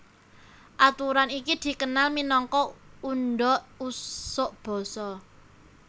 Aturan iki dikenal minangka undha usuk basa